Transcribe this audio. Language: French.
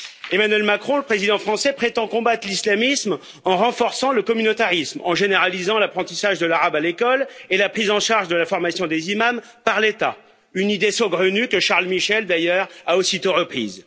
Emmanuel Macron, le président français, prétend combattre l'islamisme en renforçant le communautarisme, en généralisant l'apprentissage de l'arabe à l'école et la prise en charge de la formation des imams par l'État une idée saugrenue que Charles Michel, d'ailleurs, a aussitôt reprise.